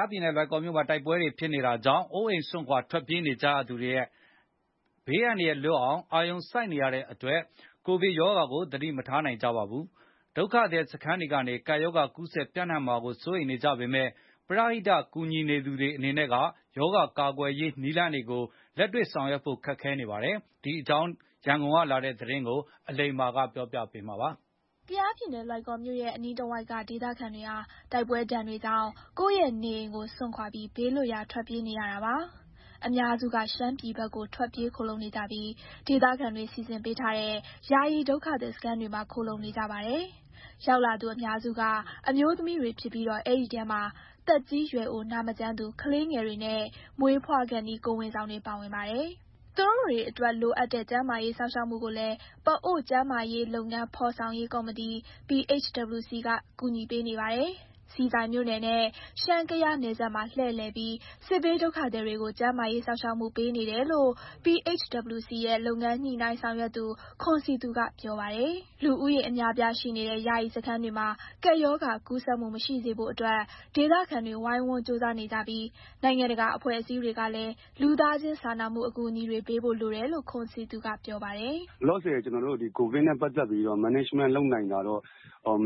ားပြည်နယ်၊ လွိုင်ကော်မြို့မှာ တိုက်ပွဲတွေဖြစ်ပွားနေတာကြောင့် အိုးအိမ်ပစ်ပြီး ဘေးလွတ်ရာ ထွက်ပြေးနေကြရသူတွေအနေနဲ့ အန္တရာယ်ဘေးကလွတ်အောင် အာရုံစိုက်နေရတဲ့အတွက် ကိုဗစ်ကပ်ရောဂါကို သတိမထားနိုင်ကြဘူးလို့ ပြောပါတယ်။ ဒုက္ခသည်စခန်းတွေကနေ ကပ်ရောဂါ ကူးစက်ပြန့်နှံ့မှာ စိုးရိမ်နေကြပေမယ့် ပရဟိတ ကူညီနေသူတွေအနေနဲ့က ရောဂါကာကွယ်ရေးနည်းလမ်းတွေကို လက်တွေ့ဆောင်ရွက်ဖို့ ခက်ခဲနေပါတယ်။ ဒီအကြောင်း ရန်ကုန်ကလာတဲ့သတင်းကို အလိမ္မာက ပြောပြပါမယ်။ ကယားပြည်နယ်၊ လွိုင်ကော်မြိုနဲ့ အနီးတဝိုက်က ဒေသခံတွေဟာ တိုက်ပွဲဒဏ်တွေကြောင့် ကိုယ့်ရဲ့နေအိမ်ကိုစွန့်ခွာပြီး ဘေးလွတ်ရာထွက်ပြေးနေရတာပါ။ အများစုက ရှမ်းပြည်ဘက်ကို ထွက်ပြေးခိုလှုံနေကြပြီး ဒေသခံတွေ စီစဉ်ပေးထားတဲ့ ယာယီဒုက္ခသည်စခန်းတွေမှာ ခိုလှုံနေကြပါတယ်။ ရောက်လာသူအများစုက အမျိုးသမီးတွေဖြစ်ပြီးတော့ အဲဒီထဲမှာ သက်ကြီးရွယ်အို၊ နာမကျန်းသူ၊ ကလေးငယ်တွေနဲ့ မွေးဖွားခါနီး ကိုယ်ဝန်ဆောင်တွေပါ ပါဝင်ပါတယ်။ သူတို့တွေ အတွက်လိုအပ်တဲ့ ကျန်းမာရေးစောင့်ရှောက်မှုကိုလည်း ပအိုဝ်း ကျန်းမာရေးလုပ်ငန်း ဖော်ဆောင်ရေး ကော်မတီ PHWC က ကူညီပေးနေပါတယ်။ ဆီဆိုင်မြို့နယ်နဲ့ ရှမ်း - ကယားနယ်စပ်မှာ လှည့်လည်ပြီး စစ်ဘေးဒုက္ခသည်တွေကို ကျန်းမာရေးစောင့်ရှောက်မှု ပေးနေတယ်လို့ PHWC ရဲ့ လုပ်ငန်းညှိနှိုင်းဆောင်ရွက်သူ ခွန်စည်သူကပြောပါတယ်။ လူဦးရေအများအပြားရှိနေတဲ့ ယာယီစခန်းတွေမှာ ကပ်ရောဂါကူးစက်မှု မရှိစေဖို့အတွက် ဒေသခံတွေ ဝိုင်းဝန်းကြိုးစားနေကြပြီး နိုင်ငံတကာအဖွဲ့အစည်းတွေကလည်း လူသားချင်းစာနာမှုအကူအညီတွေ ပေးဖို့လိုတယ်လို့ ခွန်စည်သူကပြောပါတယ်။ " လောလောဆယ် ကျနော်တို့ ကိုဗစ်နဲ့ပတ်သက်ပြီးတော့ management လုပ်နိုင်တာတော့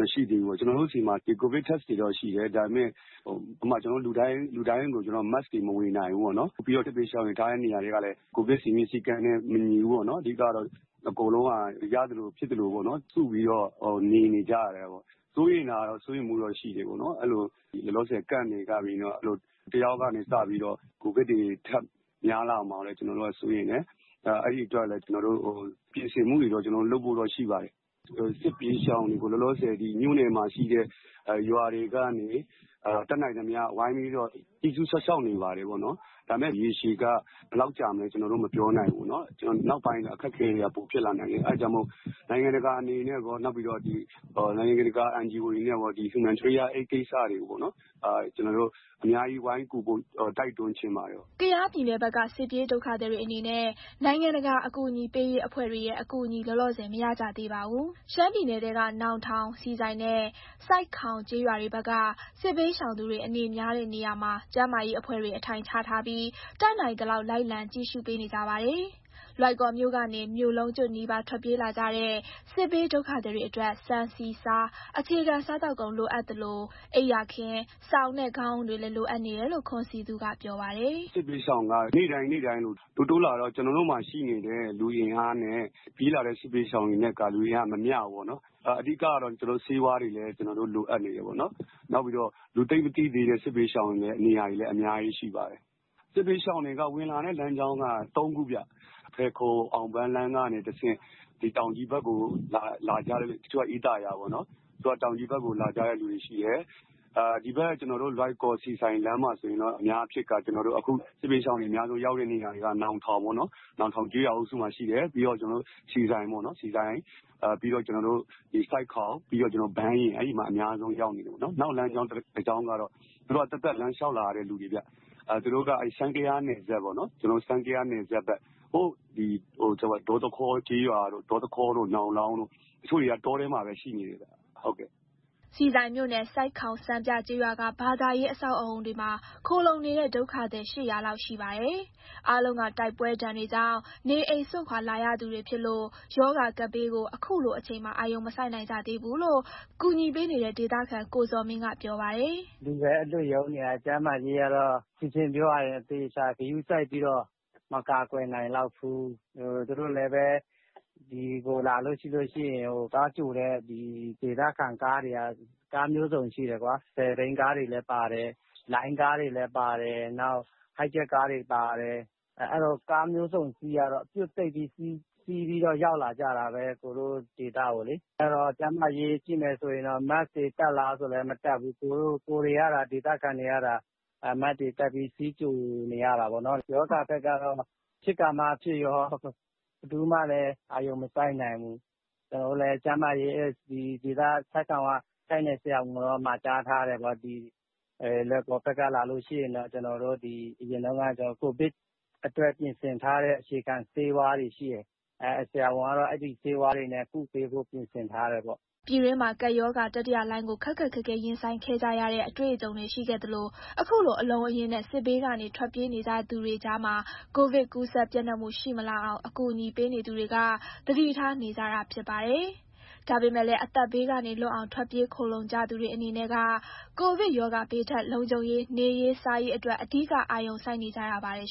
မရှိသေးဘူးပေါ့။ ကျနော်တို့ဆီမှာ Covid Test တွေတော့ရှိတယ်။ ဒါပေမယ့် ဥပမာ ကျနော်တို့ လူတိုင်းကို Mask တွေ မဝေနိုင်ဘူးပေါ့နော်။ ပြီးတော့ စစ်ဘေးရှောင်တွေထားတဲ့ နေရာတွေကလည်း ကိုဗစ်စည်းမျဉ်း စည်းကမ်းနဲ့ မညီဘူးပေါ့နော်။ အကုန်လုံးက ရသလို၊ ဖြစ်သလို စုပြီးတော့ နေနေကြရတယ်ပေါ့။ စိုးရိမ်တာကတော့ စိုးရိမ်မှုတော့ရှိတယ်။ အဲလို Camp တွေကနေ တယောက်ကနေစပြီးတော့ ကိုဗစ်တွေ ထပ်များလာမှာကိုလည်း ကျနော်တို့ကစိုးရိမ်တယ်။ အဲဒီအတွက်လည်း ကျနော်တို့တွေ ပြင်ဆင်မှုတွေလုပ်ဖို့တော့ ရှိပါတယ်။ စစ်ဘေးရှောင်တွေကို လောလောဆယ်မြို့နယ်တွေမှာရှိတဲ့ ရွာတွေကနေ တတ်နိုင်သမျှဝိုင်းပြီးတော့ ကြည့်ရှုစောင့်ရှောက်နေပါတယ်။ ဒါပေမယ့် ရေရှည် ဘယ်လောက်ကြာမလဲ ကျနော်တို့မပြောနိုင်ဘူးပေါ့နော်။ နောက်ပိုင်း အခက်အခဲတွေက ပိုဖြစ်လာနိုင်တယ်။ အဲဒါကြောင့်မို့လို့ နိုင်ငံတကာအနေနဲ့ကော၊ နိုင်ငံတကာ NGO တွေအနေနဲ့ကော၊ Humanitarian ကိစ္စတွေကို အများကြီးဝိုင်းကူဖို့ တိုက်တွန်းချင်ပါတယ်။" ကယားပြည်နယ်ဘက်က စစ်ပြေးဒုက္ခသည်တွေအနေနဲ့ နိုင်ငံတကာအကူအညီပေးရေးအဖွဲ့တွေရဲ့ အကူအညီ လောလောဆယ် မရကြသေးပါဘူး။ ရှမ်းပြည်နယ်ထဲက နောင်ထောင်၊ ဆီဆိုင်နဲ့ ဆိုက်ခေါင်ကျေးရွာတွေဘက်က စစ်ဘေးရှောင်သူတွေ အနေများတဲ့နေရာမှာ ကျန်းမာရေးအဖွဲ့တွေ အထိုင်ချထားပြီး၊ တတ်နိုင်သလောက် လိုက်လံကြည့်ရှုပေးနေကြပါတယ်။ လွိုင်ကော်မြို့ကနေ မြို့လုံးကျွတ်နီးပါး ထွက်ပြေးလာကြတဲ့ စစ်ပြေးဒုက္ခသည်တွေအတွက် ဆန်၊ ဆီ၊ ဆား အခြေခံစားသောက်ကုန် လိုအပ်သလို အိပ်ယာခင်း၊ စောင်နဲ့ ခေါင်းအုံးတွေလည်း လိုအပ်နေတယ်လို့ ခွန်စည်သူကပြောပါတယ်။ "စစ်ဘေးရှောင်က နေ့တိုင်းတိုးလာတော့ ကျနော်တို့မှာရှိနေတဲ့ လူအင်အားနဲ့ ပြေးလာတဲ့ စစ်ဘေးရှောင်တွေနဲ့က အင်အားမမျှဘူးပေါ့နော်။ အဓိကတော့ ကျနော်တို့ဆေးဝါးတွေ လိုအပ်နေတယ်ပေါ့နော်။ နောက်ပြီးတော့ လူသိပ်မသိသေးတဲ့ စစ်ဘေးရှောင်တွေရဲ့နေရာတွေလည်း အများကြီး ရှိပါတယ်။ စစ်ဘေးရှောင်တွေက ဝင်လာတဲ့လမ်းကြောင်းက ၃ ခုဗျ။ ဖယ်ခုံ-အောင်ပန်းလမ်းကနေ တဆင့် တချို့က အေးသာယာ၊ တချို့က တောင်ကြီးဘက်ကိုလာကြတယ်။ ဒီဘက် လွိုင်ကော်-ဆီဆိုင်လမ်းမှာ ဆိုရင်တော့ အများအားဖြင့်က ကျနော်တို့ အခု စစ်ဘေးရှောင်တွေ အများဆုံးရောက်တဲ့နေရာက နောင်ထောင်ပေါ့နော်။ နောင်ထောင်ကျေးရွာအုပ်စုမှာရှိတယ်။ ပြီးရင် ဆီဆိုင်၊ ဆိုက်ခေါင်၊ ဘန်းယဉ် အဲဒီမှာ အများဆုံးရောက်နေတယ်ပေါ့နော်။ နောက်လမ်းကြောင်း တကြောင်းကတော့ သူတို့က သပ်သပ်လမ်းလျှောက်လာရတဲ့ လူတွေဗျ။ သူတို့က ရှမ်း-ကယားနယ်စပ်ဘက် ဒေါသခေါကျေးရွာတို့၊ နောင်လောင်းတို့။ တချို့တွေက တောထဲမှာပဲ ရှိနေတယ်ဗျ။" ဆီဆိုင်မြို့နယ်၊ ဆိုက်ခေါင်စံပြကျေးရွာက ဘာသာရေးအဆောက်အအုံတွေမှာ ခိုလှုံနေတဲ့ဒုက္ခသည် ၈၀၀ လောက်ရှိပါတယ်။ အားလုံးက တိုက်ပွဲဒဏ်တွေကြောင့် နေအိမ်စွန့်ခွာလာရသူတွေဖြစ်လို့ ရောဂါကပ်ဘေးကို အခုလိုအချိန်မှာ အာရုံမစိုက်နိုင် ကြသေးဘူးလို့ ကူညီပေးနေတဲ့ ဒေသခံ ကိုဇော်မင်းကပြောပါတယ်။ "လူပဲအလွတ်ရုန်းနေရတယ်၊ ကျန်းမာရေးကတော့ ရှင်းရှင်းပြောရရင် အသေအချာဂရုစိုက်ပြီးတော့ မကာကွယ်နိုင်လောက်ဘူး။ သူတို့လည်း ဒီကိုလာလို့ရှိရင် သွားကြိုတဲ့ဒေသခံကားတွေက ကားမျိုးစုံရှိတယ်။ ၁၀ ဘီးကားတွေလည်းပါတယ်၊ လိုင်းကားတွေ လည်းပါတယ်၊ Hijet ကားတွေပါတယ်။ အဲလို ကားမျိုးစုံစီးရတော့ ပြွတ်သိပ်ပြီးရောက်လာကြတာပဲ။ အဲတော့ ကျန်းမာရေး ကြည့်မယ်ဆိုရင်တော့ Mask တွေတပ်လား ဆိုတော့လဲ မတပ်ဘူး။ ဒေသခံတွေကသာ Mask တွေတပ်ပြီး စီးကြိုနေရတာပေါ့နော်။ ကပ်ရောဂါကတော့ ဖြစ်ခါမှဖြစ်ရော ဘယ်သူမှလည်း အာရုံမစိုက်နိုင်ဘူး။ ကျနော်တို့လည်း ဆိုက်ခေါင်က တိုက်နယ်ဆရာဝန်ကိုတော့ မှာကြားထားတယ်ဗျ။ လွိုင်ကော်ဘက်ကလာလို့ရှိရင် အရင်တုန်းက ကိုဗစ်အတွက်ပြင်ဆင်ထားတဲ့ အခြေခံဆေးဝါးတွေရှိတယ်။ ဆရာဝန်ကတော့ အဲဒီဆေးဝါးတွေနဲ့ ကုပေးဖို့ပြင်ဆင်ထားတယ်ပေါ့။" ပြည်တွင်းမှာ ကပ်ရောဂါတတိယလှိုင်းကို ခက်ခက်ခဲခဲ ရင်ဆိုင်ခဲ့ကြရတဲ့ အတွေ့အကြုံတွေရှိခဲ့လို့ အခုလို အလုံးအရင်းနဲ့ စစ်ဘေးကနေ ထွက်ပြေးနေကြရသူတွေကြားမှာ ကိုဗစ်ကူးစက်ပျံ့နှံ့မှု ရှိမလာအောင် အကူအညီပေးနေသူတွေက သတိထား နေကြတာဖြစ်ပါတယ်။ ဒါပေမဲ့လည်း အသက်ဘေးကနေလွတ်အောင် ထွက်ပြေးခိုလှုံနေကြသူတွေအနေနဲ့က ကိုဗစ်ကပ်ရောဂါ ဘေးထက် လုံခြုံရေး၊ နေရေး၊ စားရေးအတွက် အဓိက အာရုံစိုက်နေကြရပါတယ်